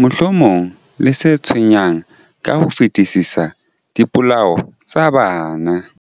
mohlomong le se tshwenyang ka ho fetisisa, dipolao tsa bana.